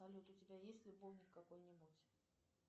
салют у тебя есть любовник какой нибудь